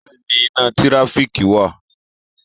Bẹ́ẹ̀ni iná tíráfíkì wà.